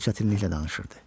O çətinliklə danışırdı.